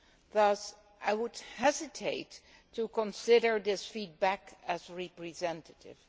Thus I would hesitate to consider this feedback as representative.